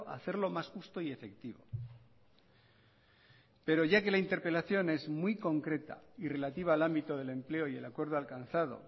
hacerlo más justo y efectivo pero ya que la interpelación es muy concreta y relativa al ámbito del empleo y el acuerdo alcanzado